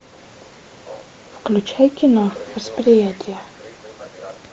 включай кино восприятие